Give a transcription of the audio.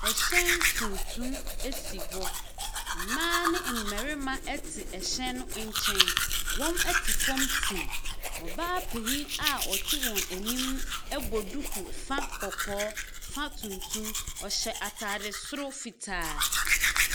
Ɛhyɛn tuntum esi hɔ. Mbaa ne mbɛrema ɛte ɛhyɛn no ɛnkyɛn. Wɔn ɛte fɔm tim, ɔbaa panin a ɔte wɔn enim ɛbɔ duku fa kɔkɔɔ, fa tuntum. Ɔhyɛ ataade soro fitaa.